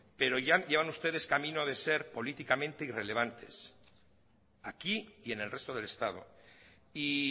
pero ya van ustedes camino de ser políticamente irrelevantes aquí y en el resto del estado y